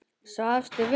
Svafstu vel?